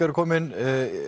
eru komin þau